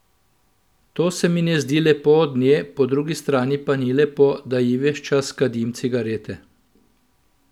To se mi ne zdi lepo od nje, po drugi strani pa ni lepo, da ji ves čas kadim cigarete.